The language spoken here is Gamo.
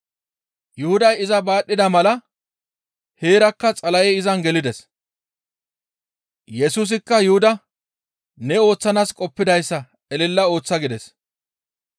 Yuhuday iza baadhida mala heerakka Xala7ey izan gelides. Yesusikka Yuhuda, «Ne ooththanaas qoppidayssa elela ooththa» gides.